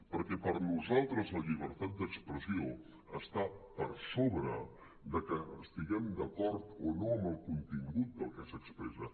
perquè per nosaltres la llibertat d’expressió està per sobre de que estiguem d’acord o no amb el contingut del que s’expressa